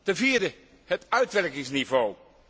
Ten vierde het uitwerkingsniveau.